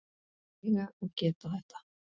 Að mega og geta þetta.